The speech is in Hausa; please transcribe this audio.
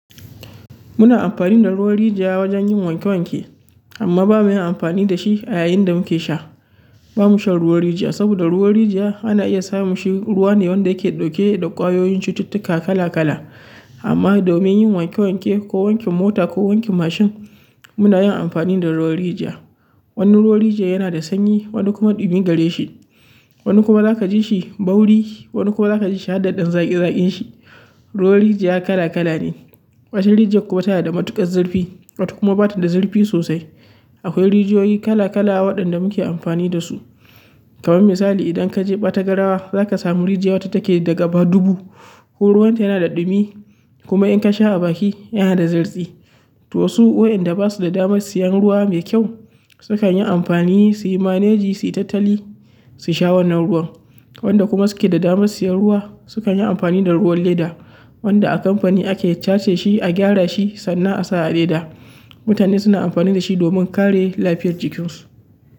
Muna amfani da ruwan rijiya wajen yin wanke wanke, amma ba mu yi amfani da shi a yayin da muke sha. Ba mu shan ruwan rijiya saboda ruwan rijiya ana iya samun shi ruwa ne wanda yake ɗauke da ƙwayoyin cututtuka kala kala. Amma domin wanke wanke ko wankin mota ko wankin mashin muna yin amfani da ruwan rijiya. Wani ruwan rijiyan yana da sanyi, wani kuma ɗumi gare shi, wani kuma za ka ji shi bauri, wani kuma za ka ji shi hadda ɗan zaƙi zaƙin shi. Ruwan rijiya kala kala ne. Wata rijiya kuma tana da matuƙar zirfi, wata kuma ba ta da zirfi sosai. Akwai rijiyoyi kala kala waɗanda muke amfani da su. Kamar misali idan ka je ɓata garawa za ka samu rijiya wata take da gaba dubu ko ruwan ta yana da ɗumi kuma in ka sha a baki yana da zirtsi. To wasu wayanda ba su da damar siyan ruwa mai kyau sukan yi amfani su yi maneji su yi tattali su sha wannan ruwan. Wanda kuma suke da damar siyan ruwa sukan yi amfani da ruwan leda wanda a kamfani ake cace shi a gyara shi sannan a sa a leda. Mutane suna amfani da shi domin kare lafiyar jikinsu.